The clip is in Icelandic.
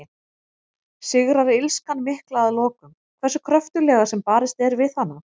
Sigrar illskan mikla að lokum, hversu kröftuglega sem barist er við hana?